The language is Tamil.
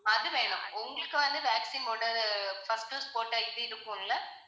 அது வேணும் உங்களுக்கு வந்து vaccine போட்டது first dose போட்ட இது இருக்கும்ல